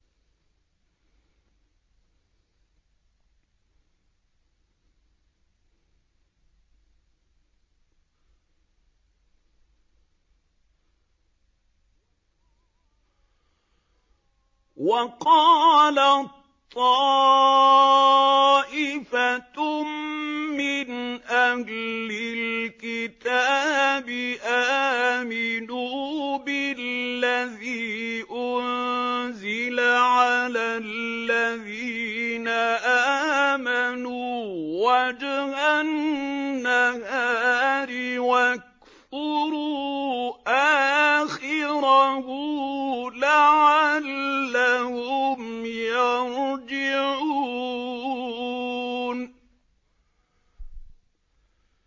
وَقَالَت طَّائِفَةٌ مِّنْ أَهْلِ الْكِتَابِ آمِنُوا بِالَّذِي أُنزِلَ عَلَى الَّذِينَ آمَنُوا وَجْهَ النَّهَارِ وَاكْفُرُوا آخِرَهُ لَعَلَّهُمْ يَرْجِعُونَ